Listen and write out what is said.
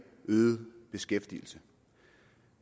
øget beskæftigelse